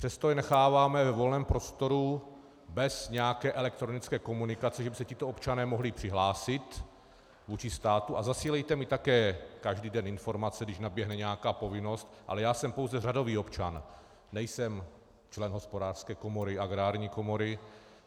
Přesto je necháváme ve volném prostoru bez nějaké elektronické komunikace, že by se tito občané mohli přihlásit vůči státu a zasílejte mi také každý den informace, když naběhne nějaká povinnost, ale já jsem pouze řadový občan, nejsem člen Hospodářské komory, Agrární komory.